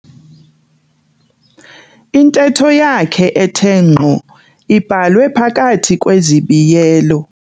Intetho yakhe ethe ngqo ibhalwe phakathi kwezibiyelo.